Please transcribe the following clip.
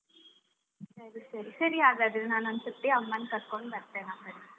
ಸರಿ ಸರಿ ಸರಿ, ಹಾಗಾದ್ರೆ ನಾನ್ ಒಂದು ಸತ್ತಿ ಅಮ್ಮನ್ ಕರ್ಕೊಂಡು ಬರ್ತೇನೆ ಅಂಗಡಿಗೆ.